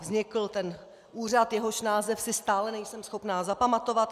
Vznikl ten úřad, jehož název si stále nejsem schopna zapamatovat.